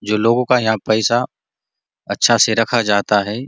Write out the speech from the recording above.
जो लोगो का यहाँ पैसा अच्छा से रखा जाता है।